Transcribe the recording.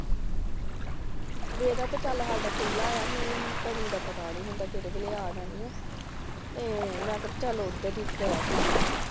ਵੇਹੜਾ ਤਾਂ ਚੱਲ ਸਾਡਾ ਖੁੱਲ੍ਹਾ ਆ। ਮੀਹ ਮੂਹ ਦਾ ਨਹੀਂ ਪਤਾ ਕਿਸ ਵੇਲੇ ਆ ਜਾਣਿਆ । ਤੇ ਮੈ ਕਿਹਾ ਚੱਲ